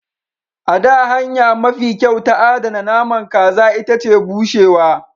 A da, hanya mafi kyau ta adana naman kaza ita ce bushewa.